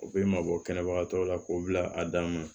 U bɛ mabɔ kɛnɛbagatɔw la k'o bila a dan na